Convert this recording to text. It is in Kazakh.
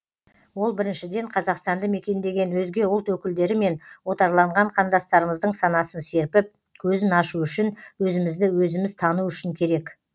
ол біріншіден қазақстанды мекендеген өзге ұлт өкілдері мен отарланған қандастарымыздың санасын серпіп көзін ашу үшін өзімізді өзіміз тану үшін керек